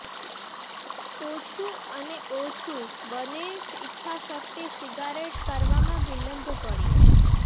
ઓછું અને ઓછું બને ઇચ્છા શક્તિ સિગારેટ કરવામાં વિલંબ પડ્યો